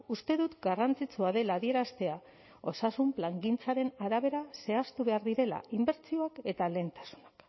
uste dut garrantzitsua dela adieraztea osasun plangintzaren arabera zehaztu behar direla inbertsioak eta lehentasunak